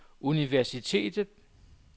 universitetet